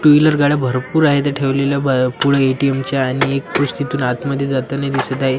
To wheeler गाड्या भरपूर आहे इथं ठेवलेल्या बा पुढे ए_टी_एम च्या आणि एक पुरुष तिथून आतमध्ये जाताना दिसत आहे.